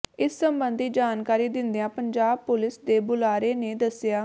ਇਸ ਸਬੰਧੀ ਜਾਣਕਾਰੀ ਦਿੰਦਿਆਂ ਪੰਜਾਬ ਪੁਲਿਸ ਦੇ ਬੁਲਾਰੇ ਨੇ ਦੱਸਿਆ